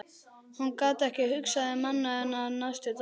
Hún gat ekki hugsað um annað en hann næstu daga.